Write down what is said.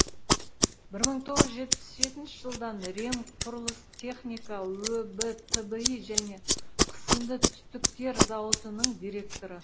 бір мың тоғыз жүз жетпіс жетінші жылдан ремқұрылыстехника өб тби және қысымды түтіктер зауытының директоры